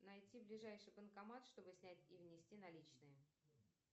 найти ближайший банкомат чтобы снять и внести наличные